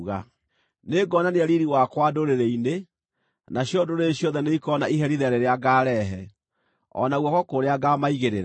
“Nĩngonania riiri wakwa ndũrĩrĩ-inĩ, nacio ndũrĩrĩ ciothe nĩikoona iherithia rĩrĩa ngaarehe, o na guoko kũrĩa ngaamaigĩrĩra.